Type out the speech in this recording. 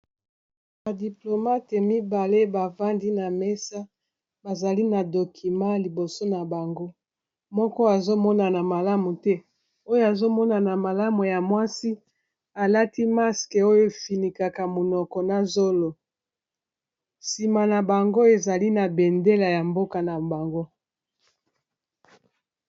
Ba diplomate mibale bafandi na mesa bazali na document a liboso na bango moko azomonana malamu te oyo azomonana malamu ya mwasi alati maske oyo efinikaka monoko na zolo nsima na bango ezali na bendela ya mboka na bango.